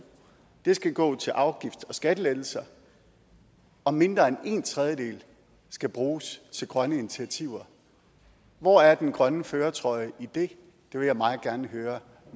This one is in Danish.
skal gå til afgifts og skattelettelser og mindre end en tredjedel skal bruges til grønne initiativer hvor er den grønne førertrøje i det det vil jeg meget gerne høre